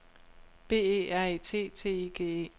B E R E T T I G E